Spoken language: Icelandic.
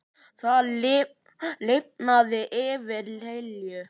Það lifnaði yfir Lillu.